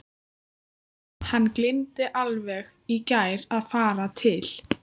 Hann gleymdi alveg í gær að fara til